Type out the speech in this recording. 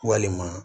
Walima